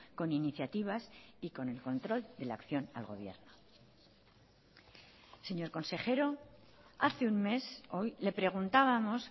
con iniciativas y con el control de la acción al gobierno señor consejero hace un mes hoy le preguntábamos